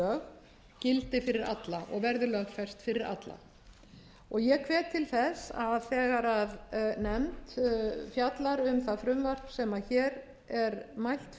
hjúskaparlög gildi fyrir alla og verði lögfest fyrir alla ég hvet til þess að þegar nefnd fjallar um það frumvarp sem hér er mælt